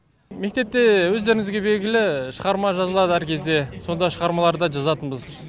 мектепте өздеріңізге белгілі шығарма жазылады әр кезде сонда шығармалар да жазатынбыз